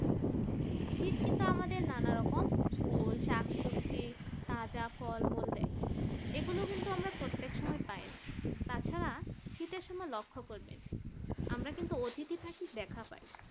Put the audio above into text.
শীত কিন্তু আমাদের নানারকম ফুল শাক সবজি কাঁচা ফলমূল দেয় এগুলো কিন্তু আমরা প্রত্যেক সময় পাইনা। তাছাড়া তাছাড়া শীতের সময় লক্ষ্য করবেন আমরা কিন্তু অতিথি পাখির দেখা পাই